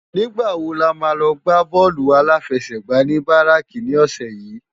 Nigbá wó lámá lò gbá bòlú áláfèsègbá ni báráki ni òsè yi?